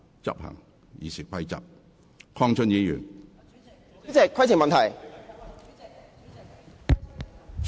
陳淑莊議員，你有甚麼問題？